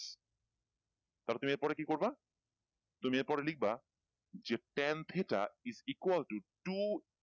তাহলে তুমি এর পরে কি করব তুমি এর পরে লিখবা যে ten theta is equal to two